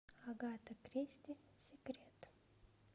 агата кристи секрет